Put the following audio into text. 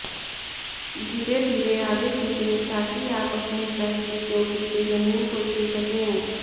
धीरे धीरे आगे झुकें ताकि आप अपने सर की चोटी से ज़मीन को छू सकें